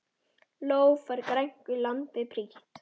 Ló fær grænku landið prýtt.